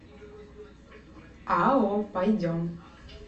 ао пойдем